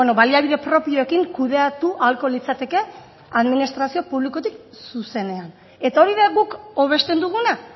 baliabide propioekin kudeatu ahalko litzateke administrazio publikotik zuzenean eta hori da guk hobesten duguna